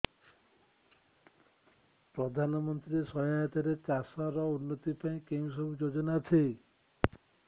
ପ୍ରଧାନମନ୍ତ୍ରୀ ସହାୟତା ରେ ଚାଷ ର ଉନ୍ନତି ପାଇଁ କେଉଁ ସବୁ ଯୋଜନା ଅଛି